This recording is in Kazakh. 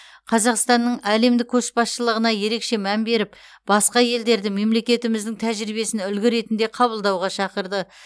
қазақстанның әлемдік көшбасшылығына ерекше мән беріп басқа елдерді мемлекетіміздің тәжірибесін үлгі ретінде қабылдауға шақырды